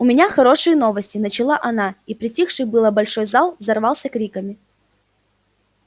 у меня хорошие новости начала она и притихший было большой зал взорвался криками